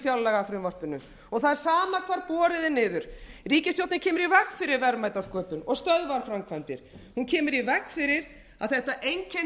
fjárlagafrumvarpinu og það er sama hvar borið er niður ríkisstjórnin kemur í veg fyrir verðmætasköpun og stöðvar framkvæmdir hún kemur í veg fyrir að þetta